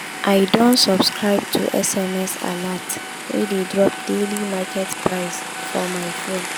i don subscribe to sms alert wey dey drop daily market price for my phone.